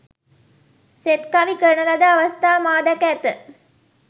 සෙත්කවි කරන ලද අවස්ථා මා දැක ඇත.